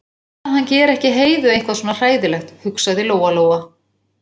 Bara að hann geri ekki Heiðu eitthvað svona hræðilegt, hugsaði Lóa-Lóa.